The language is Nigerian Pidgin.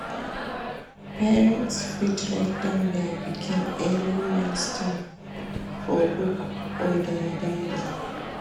Parents fit write down their pikin early milestone for book or their dairy